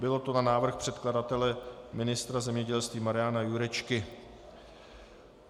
Bylo to na návrh předkladatele ministra zemědělství Mariana Jurečky.